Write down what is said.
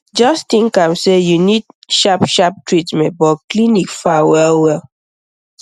just think am say you need sharp sharp treatment but clinic far well well